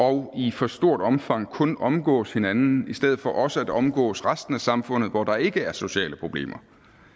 og i for stort omfang kun omgås hinanden i stedet for også at omgås resten af samfundet hvor der ikke er sociale problemer